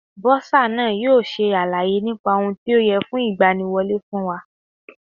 Bọ́sà náà yóò ṣe àlàyé nípa ohun tí ó yẹ fún ìgbaniwọlẹ́ fún wa.